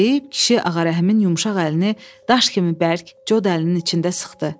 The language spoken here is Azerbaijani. deyib, kişi Ağarəhimin yumşaq əlini daş kimi bərk, cod əlinin içində sıxdı.